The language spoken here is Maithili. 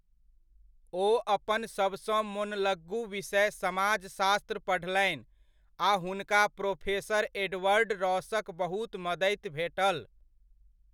ओ अपन सभसँ मोनलग्गू विषय समाजशास्त्र पढ़लनि आ हुनका प्रोफेसर एडवर्ड रॉसक बहुत मदति भेटल।